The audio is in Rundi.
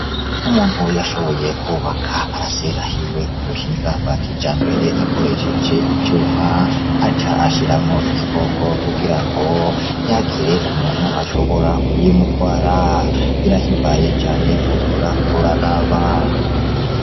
Umuntu yashoboye kubaka paracera yiwe k'ubuhinga bwa kijambere akoresheje ivyuma, aca ashiramwo igikoko kugira ngo ntihagire umuntu ashobora kuyimutwara birahimbaye cane wohora uraraba.